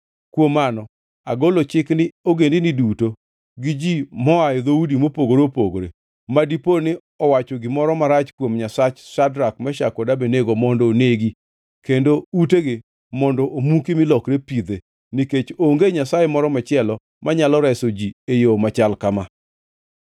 Kuom mano, agolo chik ni ogendini duto gi ji moa e dhoudi mopogore opogore ma dipo ni owacho gimoro marach kuom Nyasach Shadrak, Meshak kod Abednego mondo negi kendo utegi mondo omuki mi lokre pidhe, nikech onge nyasaye moro machielo manyalo reso ji e yo machal kama.”